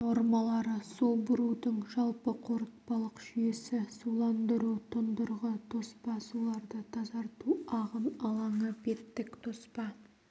нормалары су бұрудың жалпы қорытпалық жүйесі суландыру тұндырғы тоспа суларды тазарту ағын алаңы беттік тоспа